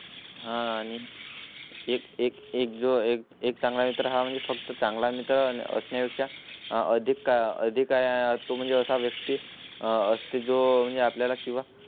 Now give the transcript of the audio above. हा आणि. एक एक एक जो एक एक चांगला मित्र म्हणजे फक्त चांगला मित्र रचनेचा अधिक काळ अधिकाऱ्या तो म्हणजे असा व्यक्ती असते जो म्हणजे आपल्या ला किंवा